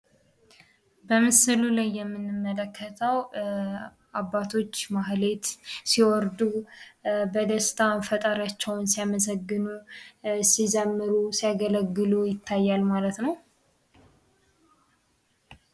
በምሥሉ ላይ የምንመለከተው አባቶች ማህሌት ሲወርዱ በደስታ ፈጣሪያቸውን ሲያመሰግን ሲዘምሩ ሲያገለግሉ ይታያል ማለት ነው።